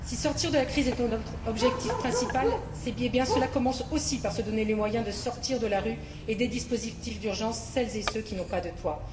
Si sortir de la crise est l'objectif principal, cela commence aussi par se donner les moyens de sortir de la rue et des dispositifs d'urgence celles et ceux qui n'ont pas de toit.